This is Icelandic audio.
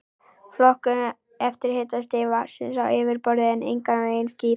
Flokkun eftir hitastigi vatnsins á yfirborði er engan veginn skýr.